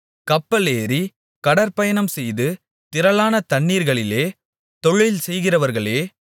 கப்பலேறி கடற்பயணம்செய்து திரளான தண்ணீர்களிலே தொழில் செய்கிறார்களே